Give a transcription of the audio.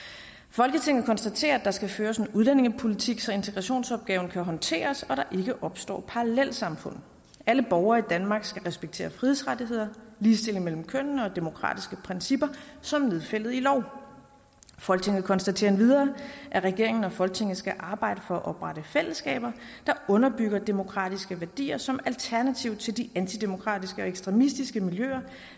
folketinget konstaterer at der skal føres en udlændingepolitik så integrationsopgaven kan håndteres og der ikke opstår parallelsamfund alle borgere i danmark skal respektere frihedsrettigheder ligestilling mellem kønnene og demokratiske principper som nedfældet i lov folketinget konstaterer endvidere at regeringen og folketinget skal arbejde for at oprette fællesskaber der underbygger demokratiske værdier som alternativ til de antidemokratiske og ekstremistiske miljøer